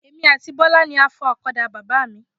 Èmi àti Bọ́lá ni a fọ ọ̀kadà Bàbá mi.